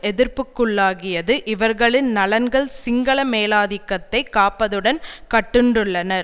எதிர்ப்புக்குள்ளாகியது இவர்களின் நலன்கள் சிங்கள மேலாதிக்கத்தைக் காப்பதுடன் கட்டுண்டுள்ளன